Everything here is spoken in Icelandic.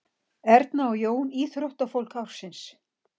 Erna og Jón íþróttafólk ársins